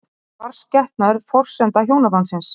Er barnsgetnaður forsenda hjónabandsins?